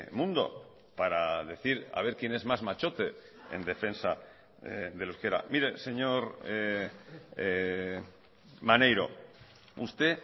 mundo para decir a ver quién es más machote en defensa del euskera mire señor maneiro usted